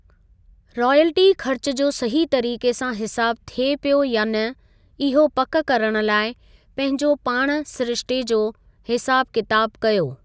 Royalty खर्च जो सही तरीक़े सां हिसाबु थिए पियो या न, इहो पक करणु लाइ पंहिंजो पाण सिरिश्ते जो हिसाबु किताब कयो।